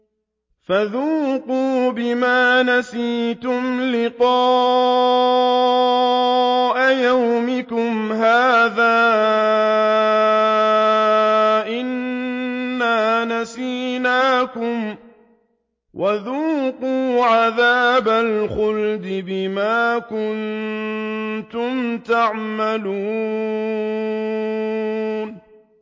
فَذُوقُوا بِمَا نَسِيتُمْ لِقَاءَ يَوْمِكُمْ هَٰذَا إِنَّا نَسِينَاكُمْ ۖ وَذُوقُوا عَذَابَ الْخُلْدِ بِمَا كُنتُمْ تَعْمَلُونَ